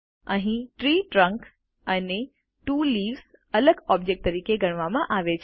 અહીં tree trunk અને two leaves અલગ ઓબ્જેક્ટ તરીકે ગણવામાં આવે છે